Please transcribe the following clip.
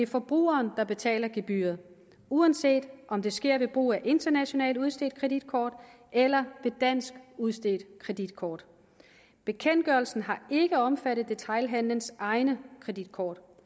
forbrugerne betale gebyret uanset om det sker ved brug af et internationalt udstedt kreditkort eller et dansk udstedt kreditkort bekendtgørelsen har ikke omfattet detailhandelens egne kreditkort